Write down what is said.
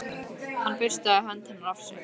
Hann burstaði hönd hennar af sér.